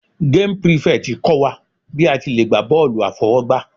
Game prefect kọ́ wa bí a ti le gbá bọ́ọ̀lù àfọwọ́gbá.